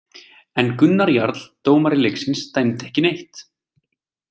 En Gunnar Jarl dómari leiksins dæmdi ekki neitt.